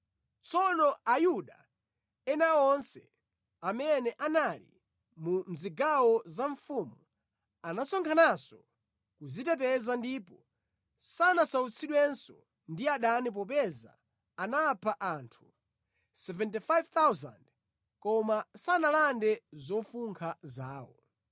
Tsono Ayuda ena onse amene anali mu zigawo za mfumu anasonkhananso kudziteteza ndipo sanasautsidwenso ndi adani popeza anapha anthu 75,000 koma sanalande zofunkha zawo.